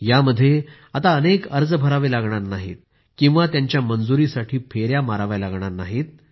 यामध्ये आता अनेक अर्ज भरावे लागणार नाहीत की त्यांच्या मंजुरीसाठी फेया माराव्या लागणार नाहीत